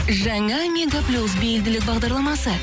жаңа мега плюс бейілділік бағдарламасы